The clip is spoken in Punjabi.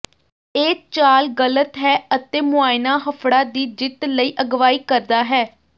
ਇਹ ਚਾਲ ਗ਼ਲਤ ਹੈ ਅਤੇ ਮੁਆਇਣਾ ਹਫੜਾ ਦੀ ਜਿੱਤ ਲਈ ਅਗਵਾਈ ਕਰਦਾ ਹੈ